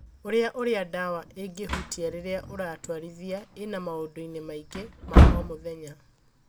Ũria ũrĩa dawa ĩgĩhutia rĩrĩa ũratwarithia i na maũndũ-inĩ mangĩ. ma o mũthenya